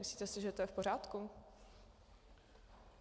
Myslíte si, že to je v pořádku?